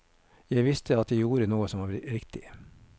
Jeg visste at jeg gjorde noe som var riktig.